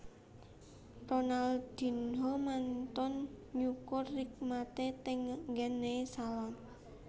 Ronaldinho mantun nyukur rikmane teng nggen e salon